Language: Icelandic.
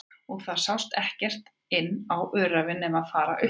Og það sást ekkert inn á öræfin nema fara upp á